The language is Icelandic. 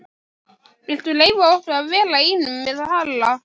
Viltu leyfa okkur að vera einum með Halla?